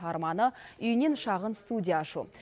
арманы үйінен шағын студия ашу